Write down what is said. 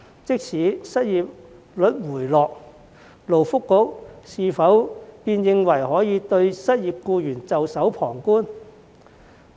即使失業率回落，勞工及福利局是否便認為可以對失業僱員袖手旁觀？